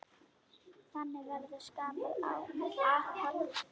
Þannig verður skapað aðhald.